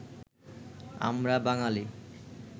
আমরা বাঙালি